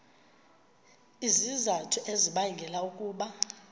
izizathu ezibangela ukuba